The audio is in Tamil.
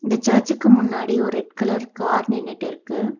இந்த சர்ச்சுக்கு முன்னாடி ஒரு ரெட் கலர் கார் நின்னுட்டு இருக்கு.